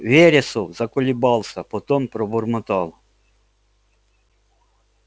вересов заколебался потом пробормотал